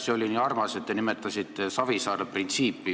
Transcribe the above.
See oli nii armas, et te nimetasite Savisaare printsiipi.